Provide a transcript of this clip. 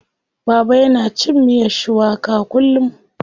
Baba yana cin miyar shuwaka kullum.